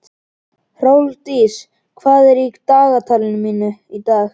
Hrólfdís, hvað er í dagatalinu mínu í dag?